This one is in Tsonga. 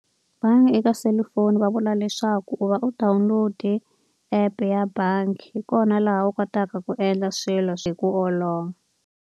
Bangi eka selufoni va vula leswaku u va u download-e app-e ya bangi, hi kona laha u kotaka ku endla swilo hi ku olova.